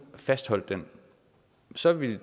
fastholdt det så ville